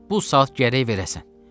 Bu saat gərək verəsən.